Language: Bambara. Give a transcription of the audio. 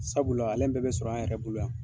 Sabula alɛn bɛɛ bɛ sɔrɔ an yɛrɛ bolo yan.